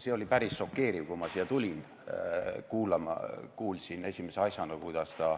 See oli päris šokeeriv, kui ma tulin siia kuulama, kuulsin esimese asjana, kuidas ta